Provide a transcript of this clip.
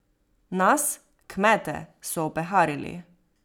Nas, kmete, so opeharili.